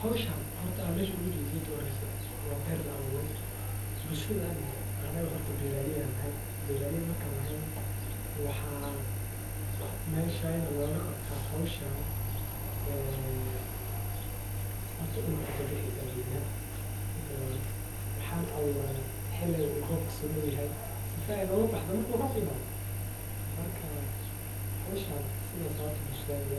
Howshan meesha aan ooga jeeda horta horeyso waxaad sameyneysa inaad haysato warqadaha walidinta ama dimashada boqolaal qof cidamada deeganka ayaa laga helaa xafladaha arooska inta badan waxeey ubadan yihiin waxaa lasiiya cunto layiraahdo bahalaha godasha hagajineyso wuuna ku shaqeysanaya dadka dameer ayeey siticmaalan iyo saca lakin asaga oo weli weynanin madama aay yaryihiin waa meel aad iyo